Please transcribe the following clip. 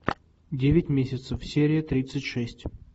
девять месяцев серия тридцать шесть